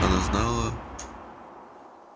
она знала